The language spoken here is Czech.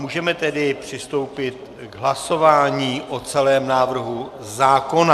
Můžeme tedy přistoupit k hlasování o celém návrhu zákona.